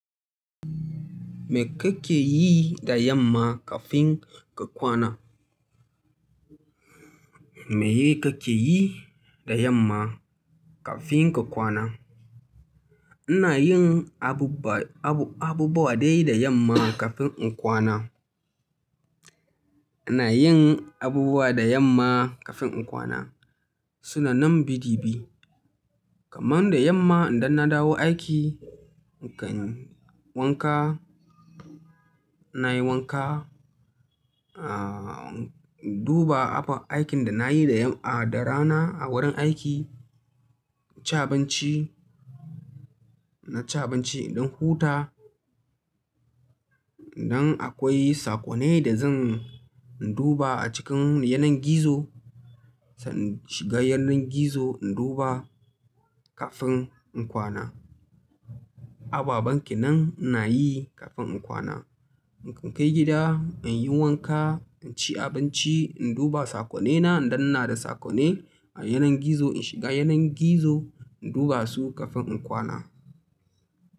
Me kake yi da yamma kafin ka kwana? Me kake yi da yamma kafin ka kwana? Ina yin abubuwa dai da yamma kafin in kwana. Ina yin abubuwa da yamma kafin in kwana. Sunan nan bi di bi. Kaman da yamma idan na dawo aiki, in kan wanka, na yi wanka, in duba abin aikin da na yi da rana a wurin aiki, ci abinci, na ci abinci, in ɗin huta. Idan akwai sakonai da zan duba a cikin yanar gizo, zan shiga yanar gizo in duba kafin in kwana. Ababen kenan ina yi kafin in kwana. In kai gida, in yi wanka, in ci abinci, in duba saƙonaina in danna da sakonai a yanar gizo, in shiga yanar gizo in duba su kafin in kwana.